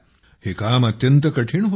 हे काम अत्यंत कठीण होते